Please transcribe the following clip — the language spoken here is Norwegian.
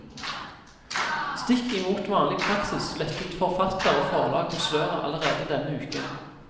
Stikk imot vanlig praksis lettet forfatter og forlag på sløret allerede denne uken.